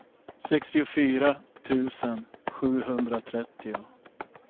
sextiofyra tusen sjuhundratrettio